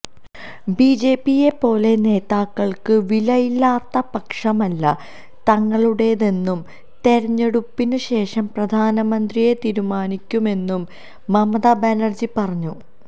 ബിജെപിയെ പോലെ നേതാക്കൾക്ക് വിലയില്ലാത്ത പക്ഷമല്ല തങ്ങളുടേതെന്നും തെരഞ്ഞെടുപ്പിന് ശേഷം പ്രധാനമന്ത്രിയെ തീരുമാനിക്കുമെന്നും മമത ബാനർജി പറഞ്ഞു